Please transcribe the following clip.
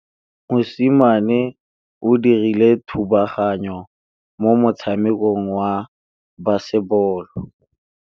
Mosimane o dirile thubaganyô mo motshamekong wa basebôlô.